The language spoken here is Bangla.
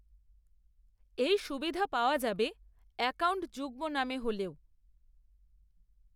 এই সুবিধা পাওয়া যাবে, অ্যাকাউন্ট যুগ্ম নামে হলেও